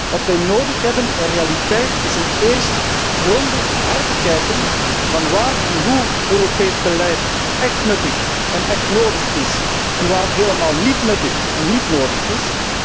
Neen, wat wij nodig hebben in realiteit is dat eerst grondig wordt herbekeken waar en hoe Europees beleid echt nuttig en echt nodig is en waar het helemaal niet nuttig of nodig is.